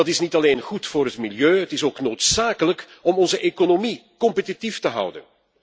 Dat is niet alleen goed voor het milieu, het is ook noodzakelijk om onze economie competitief te houden.